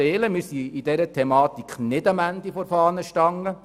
Wir sind in dieser Thematik nicht am Ende der Fahnenstange.